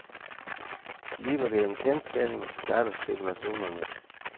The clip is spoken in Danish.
Bliver det en kendsgerning, starter spekulationerne.